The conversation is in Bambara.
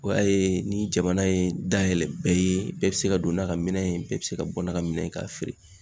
O y'a ye ni jamana ye dayɛlɛ bɛɛ ye bɛɛ be se ka don n'a ka minɛn ye bɛɛ be se ka bɔ n'a ka minɛ ye k'a feere